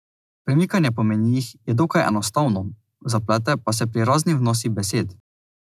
Premikanje po menijih je dokaj enostavno, zaplete pa se pri raznih vnosih besed.